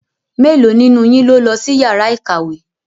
Mélòó nínú yín ló lọ sí yàrá ìkàwé?